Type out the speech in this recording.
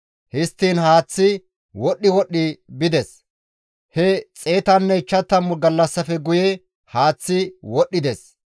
Histtiin haaththay wodhdhi wodhdhi bides; he 150 gallassafe guye haaththay wodhdhides.